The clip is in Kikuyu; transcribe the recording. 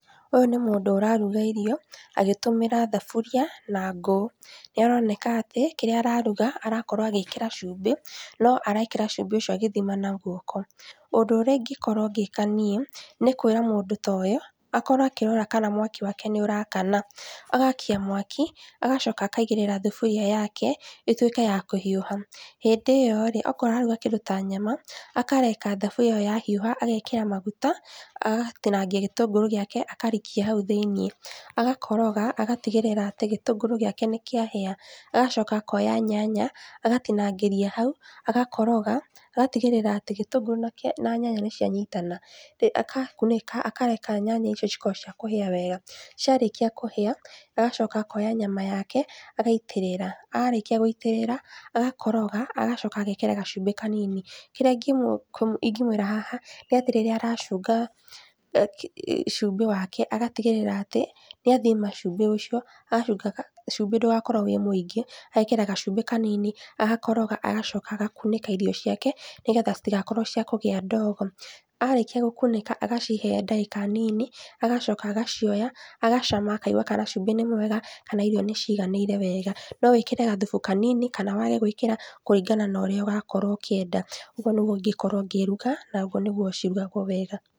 Ũyũ nĩ mũndũ ũraruga irio agĩtũmĩra thaburia na ngũ. Nĩaroneka atĩ kĩrĩa araruga arakorwo agĩkĩra cumbĩ no arekĩra cumbĩ ucio agĩthima na guoko. Ũndũ ũrĩa ingĩkorwo ngĩka niĩ nĩkwĩra mũndũ ta ũyũ akorwo akĩrora kana mwaki wake nĩũrakana agakia mwaki agacoka akaigĩrĩra thuburia yake ĩtuĩke ya kũhiũha. Hĩndĩ ĩyo rĩ, akorwo araruga kĩndũ ta nyama akareka thaburia ĩyo yahiũha agekĩra maguta agatinangia gĩtũngũrũ gĩake akarikia hau thĩiniĩ. Agakoroga agatigĩrĩra atĩ gĩtũngũrũ gĩake nĩkĩahĩa agacoka akoya nyanya agatinangiria hau agakoroga, agatigĩrĩra atĩ gĩtũngũrũ na nyanya nĩcianyitana. Agakunĩka akareka nyanya icio cikorwo cia kũhĩa wega. Ciarĩkia kũhĩa agacoka akoya nyama yake agaitĩrĩra, arĩkia gũitĩrĩra agakoroga agacoka agekĩra gacumbĩ kanini kĩrĩa ingĩmũĩra haha nĩ atĩ rĩrĩa aracunga cumbĩ wake, agatigĩrĩra atĩ nĩathima cumbi ũcio acunga cumbĩ ndũgakorwo wĩ mũingĩ ekĩra gacumbĩ kanini akoroga agacoka agakunĩka irio ciake nĩgetha citigakorwo ciakũgĩa ndogo. Arĩkia gũkunĩka agacihe ndagĩka nini agacoka agacioya agacama akaigua kana cumbĩ nĩ mwega, kana irio nĩciiganĩire wega. No wĩkĩre gathufu kanini kana wage gwĩkĩra, kũringana na ũrĩa ũrakorwo ũkĩenda. Ũguo nĩguo ingĩkorwo ngĩruga, na ũguo nĩguo cirugagwo wega.